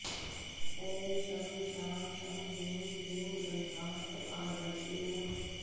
ॐ शं शां षं ह्रीं क्लीं ग्रन्थार्थपारदृशे नमः